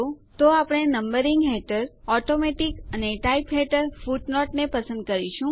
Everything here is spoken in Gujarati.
તો આપણે નંબરિંગ હેઠળ ઓટોમેટિક અને ટાઇપ હેઠળ ફુટનોટ ને પસંદ કરીશું